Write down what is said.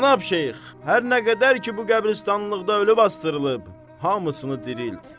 Cənab Şeyx, hər nə qədər ki bu qəbiristanlıqda ölü basdırılıb, hamısını dirilt.